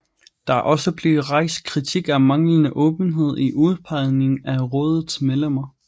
Der er også blevet rejst kritik af manglende åbenhed i udpegningen af rådets medlemmer